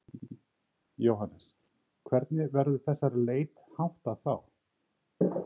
Jóhannes: Hvernig verður þessari leit háttað þá?